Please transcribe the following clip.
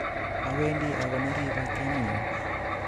Owendi akonori batiemitnyun